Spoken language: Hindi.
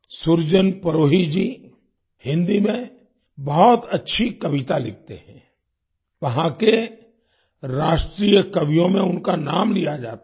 सुरजन परोही जी हिन्दी में बहुत अच्छी कविता लिखते हैं वहां के राष्ट्रीय कवियों में उनका नाम लिया जाता है